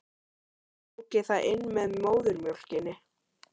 Tók ég það inn með móðurmjólkinni?